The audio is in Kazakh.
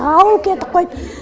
ауыл кетіп қойды